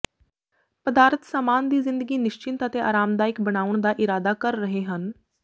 ਪਦਾਰਥ ਸਾਮਾਨ ਦੀ ਜ਼ਿੰਦਗੀ ਨਿਸਚਿੰਤ ਅਤੇ ਆਰਾਮਦਾਇਕ ਬਣਾਉਣ ਦਾ ਇਰਾਦਾ ਕਰ ਰਹੇ ਹਨ